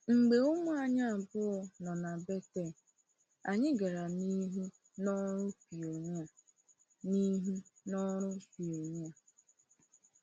Mgbe ụmụ anyị abụọ nọ na Bethel, anyị gara n’ihu n’ọrụ pionia. n’ihu n’ọrụ pionia.